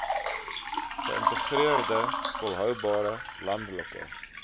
geïntegreerde volhoubare landelike